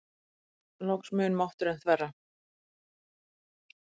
Loks mun mátturinn þverra.